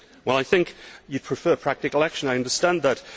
I think you prefer practical action I understand that.